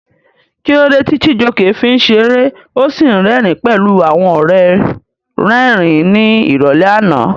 Kí ló dé tí Chijioke fi ń ṣeré ó sì rẹ́rìn-ín pẹ̀lú àwọn ọ̀rẹ́ rẹ́rìn-ín ní ìrọ̀lẹ́ àná?